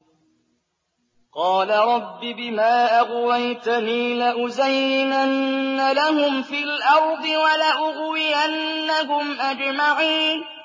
قَالَ رَبِّ بِمَا أَغْوَيْتَنِي لَأُزَيِّنَنَّ لَهُمْ فِي الْأَرْضِ وَلَأُغْوِيَنَّهُمْ أَجْمَعِينَ